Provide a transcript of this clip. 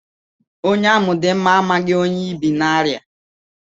Onye amụ̀ dị mma amaghị ihe onye ibì n'arịa.